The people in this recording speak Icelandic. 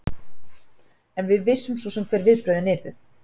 En við vissum svo sem hver viðbrögðin yrðu.